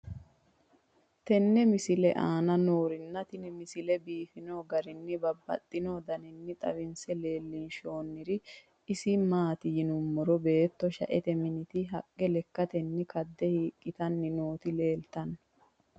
tenne misile aana noorina tini misile biiffanno garinni babaxxinno daniinni xawisse leelishanori isi maati yinummoro beetto shaette minitti haqqe lekkattenni kadde hiiqittanni nootti leelittanno